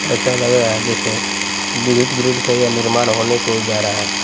ऐसा लग रहा है जैसे विद्युत ग्रिड का यह निर्माण होने को जा रहा है।